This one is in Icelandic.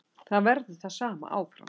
Það verður það sama áfram.